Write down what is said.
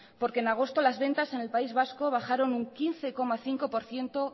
porque en agosto las ventas en el país vasco bajaron un quince coma cinco por ciento